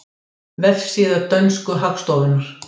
Vefsíða dönsku hagstofunnar